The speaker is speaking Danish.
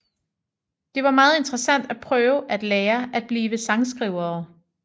Det var meget interessant at prøve og at lære at blive sangskrivere